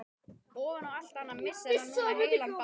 Ofan á allt annað missir hann núna heilan bát.